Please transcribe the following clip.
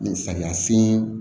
Samiya sen